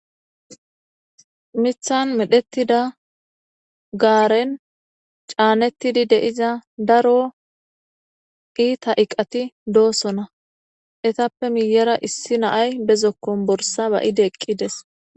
Mithan medhettida gaaren caanettidi deiza daro iita iqati doosona etappe miyera issi naay bezokkon borsa ba ide eqqides.